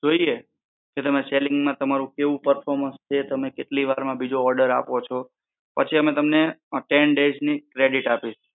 જોઈએ કે તમે selling માં તમારું કેવું performance છે. તમે કેટલી વાર માં બીજો order આપો છો. પછી અમે તમને ten days ની credit આપીશું.